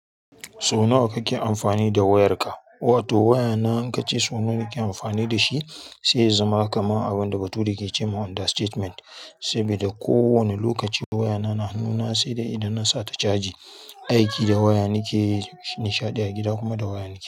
Sau nawa kake amfani da wayarka? Wato wayana in ka ce sau nawa kake amfani da shi, sai ya zama kamar abin da bature ke ce wa under statement. Saboda ko wane lokaci wayana na hannuna sai da idan nasa ta caji. Aiki da waya nakeyi, nishaɗi a gida kuma da waya nakeyi.